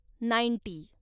ninety